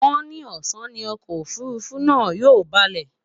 wón ni ọsán ní Ọkọ òfurufú náà yóò baalé